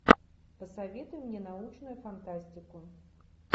посоветуй мне научную фантастику